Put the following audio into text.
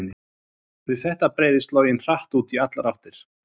við þetta breiðist loginn hratt út í allar áttir